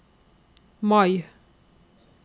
Mai